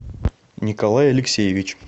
николай алексеевич